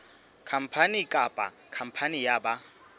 khampani kapa khampani ya ba